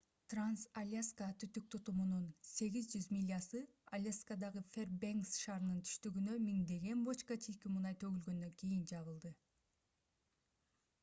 транс-альяска түтүк тутумунун 800 милясы аляскадагы фэрбенкс шаарынын түштүгүнө миңдеген бочка чийки мунай төгүлгөндөн кийин жабылды